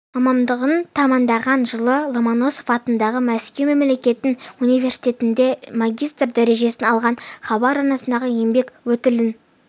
мамандығын тәмамдаған жылы ломоносов атындағы мәскеу мемлекеттік университетінде магистр дәрежесін алған хабар арнасындағы еңбек өтілін